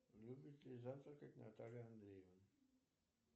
любит ли завтракать наталья андреевна